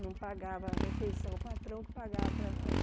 Não pagava a refeição, o patrão que pagava para nós.